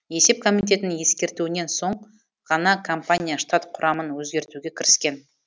есеп комитетінің ескертуінен соң ғана компания штат құрамын өзгертуге кіріскен